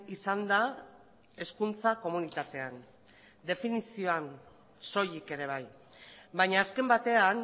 izan da hezkuntza komunitatean definizioan soilik ere bai baina azken batean